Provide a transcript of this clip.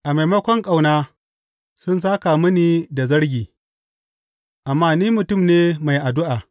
A maimakon ƙauna sun sāka mini da zargi, amma ni mutum ne mai addu’a.